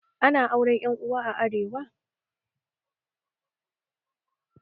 Ana auren Yan Uwa a arewa